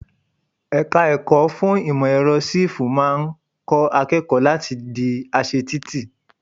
Ẹ̀ka ẹ̀kọ́ fún ìmò èrọ Sífù máa ń kọ́ akẹ́kọ̀ọ́ láti le di aṣe títì.